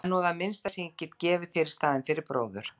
Það er nú það minnsta sem ég get gefið þér í staðinn fyrir bróður.